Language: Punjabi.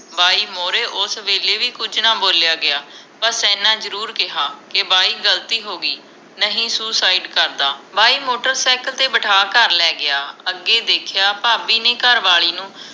ਬਾਈ ਮੋਹਰੇ ਉਸ ਵੇਲੇ ਵੀ ਕੁਝ ਨਾ ਬੋਲਿਆ ਗਿਆ ਬਸ ਇੰਨਾ ਜਰੂਰ ਕਿਹਾ ਕੇ ਬਾਈ ਗਲਤੀ ਹੋਗੀ ਨਹੀਂ ਸੁਸਾਈਡ ਕਰਦਾ ਬਾਈ ਮੋਟਰਸਾਇਕਲ ਤੇ ਬਿਠਾ ਘਰ ਲੈ ਗਿਆ ਅਗੇ ਦੇਖਿਆ ਭਾਬੀ ਨੇ ਘਰਵਾਲੀ ਨੂੰ